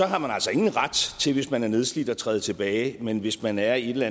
har man altså ingen ret til hvis man er nedslidt at træde tilbage men hvis man er i en eller